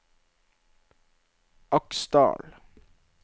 Aksdal